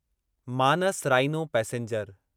Manas rhino passenger